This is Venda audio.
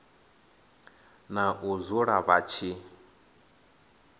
na u dzula vha tshi